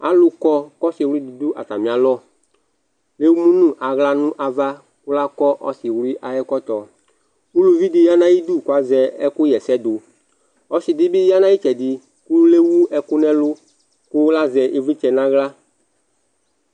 alò kɔ k'ɔse wli di do atami alɔ k'emu no ala no ava kò lakɔ ɔse wli ayi ɛkɔtɔ uluvi di ya n'ayidu k'azɛ ɛkò ɣa ɛsɛ do ɔse di bi ya n'ayi itsɛdi k'ewu ɛkò n'ɛlu kò lazɛ ivlitsɛ n'ala